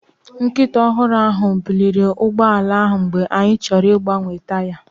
Nkịta ọhụrụ ahụ buliri ụgbọ ala ahụ mgbe anyị chọrọ ịgbanwe taya.